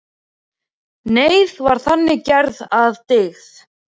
Neyð var þannig gerð að dygð.